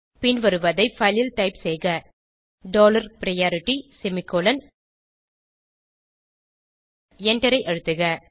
பின்வருவதை file ல் type செய்க dollar priority semicolon எண்டரை அழுத்துக